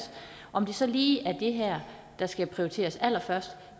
om det så lige er det her der skal prioriteres allerførst